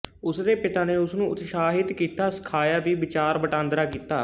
ਉਸਦੇ ਪਿਤਾ ਨੇ ਉਸਨੂੰ ਉਤਸ਼ਾਹਿਤ ਕੀਤਾ ਸਿਖਾਇਆ ਵੀ ਵਿਚਾਰ ਵਟਾਂਦਰਾ ਕੀਤਾ